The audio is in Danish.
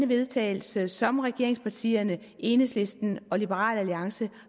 vedtagelse som regeringspartierne enhedslisten og liberal alliance